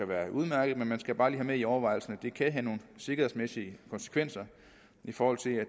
være udmærket men man skal bare lige have med i overvejelserne at det kan have nogle sikkerhedsmæssige konsekvenser i forhold til at